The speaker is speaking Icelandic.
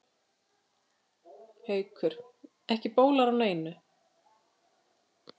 Haukur: En bólar ekki á neinu?